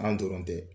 An dɔrɔn tɛ